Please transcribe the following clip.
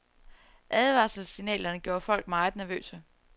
Advarselssignalerne gjorde folk meget nervøse.